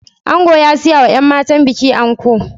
Ango ya siyawa yan matan bikin anko